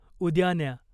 उद्या न्या.